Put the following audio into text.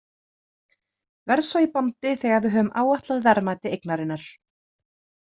Verð svo í bandi þegar við höfum áætlað verðmæti eignarinnar.